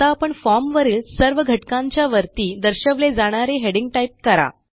आता आपण फॉर्म वरील सर्व घटकांच्या वरती दर्शवले जाणारे हेडिंग टाईप करा